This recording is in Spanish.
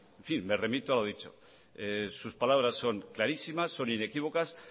en fin me remito a lo dicho sus palabras son clarísimas son inequívocas